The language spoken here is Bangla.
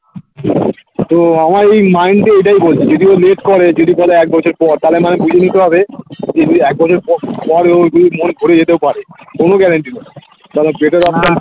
তো আমার এই mind এ ওইটাই বলছে যদি ও late করে যদি বলে একবছর পর তাহলে আমায় বুঝে নিতে হবে যদি একবছর পর পরে ওর যদি মন ঘুরে যেতেও পারে কোনো guarantee নেই